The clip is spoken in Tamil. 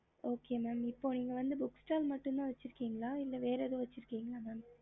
ஹம்